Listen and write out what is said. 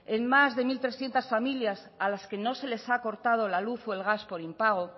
en más de mil trescientos familias a las que no se les ha cortado la luz o el gas por impago